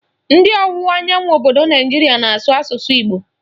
Ndị ọwụwa anyanwụ obodo Naijiria na-asụ asụsụ Igbo